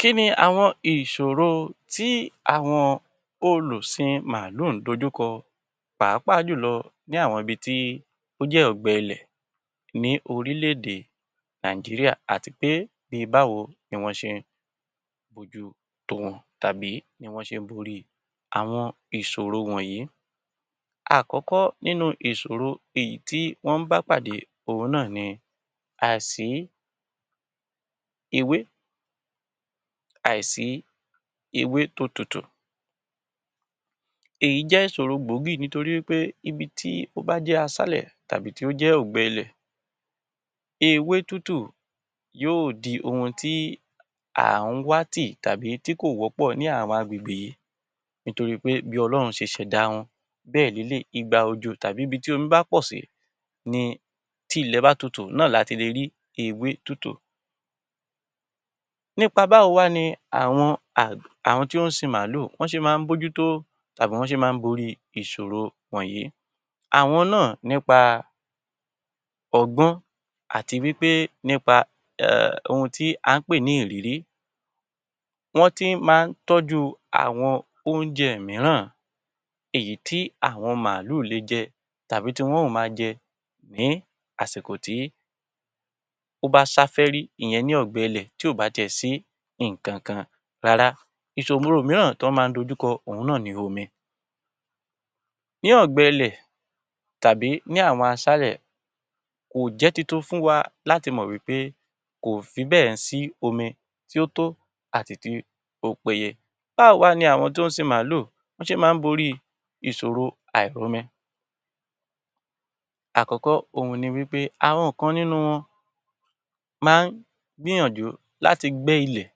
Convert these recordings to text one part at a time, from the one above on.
Kí ni àwọn ìṣòro tí àwọn olùsin màálù ń dojú kọ pàápàá jù lọ ní àwọn ibi tí ó jẹ́ ọ̀gbẹ ilẹ̀ ní orílẹ̀-èdè Nàìjíríà àti pé bí báwo ni wọ́n ṣe ń bójú tó wọn tàbí ní wọ́n ṣe ń borí àwọn ìṣòro wọ̀nyí? Àkọ́kọ́, ìṣòro èyí tí wọ́n ń bá pàdé òhun náà ni àìsí ewé, àìsí ewé tó tútù. Èyí jẹ́ ìṣòro gbòógì nítorí wí pé ibi tí ó bá jẹ́ aṣálẹ̀ tàbí tí ó jẹ́ ọ̀gbẹẹlẹ̀, ewé tútù yóò di ohun tí à ń wá tì tàbí tí kò wọ́pọ̀ ní àwọn agbègbè yìí nítorí pé bí Ọlọ́run ṣe ṣẹ̀dá wọn bẹ́ẹ̀ lelé yìí. Ìgbà òjò tàbí ibi tí omi bá pọ̀ sí ni tí ilẹ̀ bá tútù náà láti le rí ewé tútù. Nípa báwo wá ni àwọn àwọn tí ó ń sin màálù bọ́ ṣe máa ń bójú tó tàbí bí wọ́n ṣe máa ń borí ìṣòro wọ̀nyí? Àwọn náà nípa ọgbọ́n àti wí pé nípa ohun tí à ń pè ní ìrírí, wọ́n ti máa ń tọ́jú àwọn oúnjẹ mìíràn èyí tí àwọn màálù le jẹ tàbí tí wọn ó máa jẹ ní àsìkò tí ó bá sáfẹ́rí ìyẹn ní ọ̀gbẹẹlẹ̀ tí ò bá ti ẹ̀ sí nǹkan kan rárá. Ìṣòro míràn tọ́ máa ń dojú kọ òhun náà ni omi. Ní ọ̀gbẹẹlẹ̀ tàbí ní àwọn aṣálẹ̀, kò jẹ́ tuntun fún wa láti mọ wí pé kò fi bẹ́ẹ̀ ń sí omi tí ó tó àti tí ó péye. Báwo wá ni àwọn tó ń sin màálù ṣe máa ń borí ìṣòro àìrómi? Àkọ́kọ́, ohun ni wí pé àwọn kan nínú wọn máa ń gbìyànjú láti gbẹ́ ilẹ̀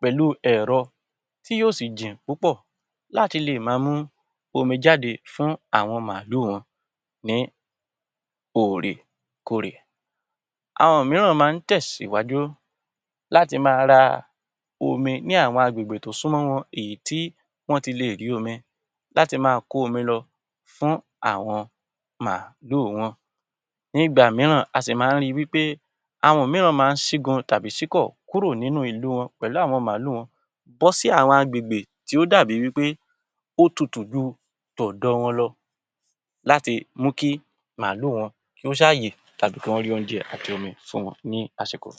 pẹ̀lú ẹ̀rọ tí yóò sì jìn púpọ̀ láti lè máa mú omi jáde fún àwọn màálù wọn ní òrèkóòrè. Àwọn mìíràn máa ń tẹ̀síwájú láti ma ra omi ní àwọn agbègbè tó súnmọ́ wọn èyí tí wọ́n ti lè rí omi láti máa kó omi lọ fún àwọn màálù wọn. Nígbà mìíràn a sì máa ń ri wí pé àwọn mìíràn máa ń ṣígun tàbí ṣíkọ̀ kúrò nínú ìlú wọn pẹ̀lú àwọn màálù wọn bọ́ sí àwọn agbègbè tí ó dàbí wí pé ó tútù ju tọ̀dọ̀ wọn lọ láti mú kí màálù wọn kí ó ṣá yè tàbí kí wọ́n rí oúnjẹ àti omi fún wọn ní àsìkò.